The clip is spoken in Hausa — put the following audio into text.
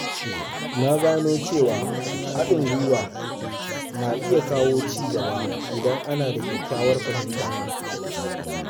Na gano cewa haɗin gwiwa na iya kawo ci gaba idan ana da kyakkyawar fahimta.